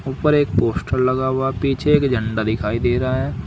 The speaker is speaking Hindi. ऊपर एक पोस्टर लगा हुआ पीछे एक झंडा दिखाई दे रहा है।